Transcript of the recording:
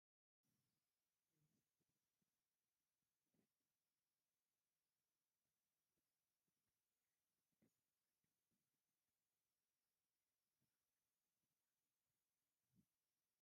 እዚ ሰለስተ ሰባት ባህላዊ ክዳን ዝለበሱ ደው ኢሎም የርኢ። ባህላዊ ክዳን ዝተኸድኑ ሰባት ኣብ ትሕቲ ንጹር ሰማይ ደው ክብሉ ይራኣዩ። ጻዕዳን ሕብራዊን ክዳውንቲ ብቐረባ ተከዲኖም ይራኣዩ ኣለው።